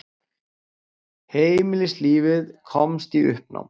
Heimilislífið komst í uppnám.